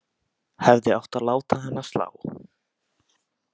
Hefði átt að láta hana slá.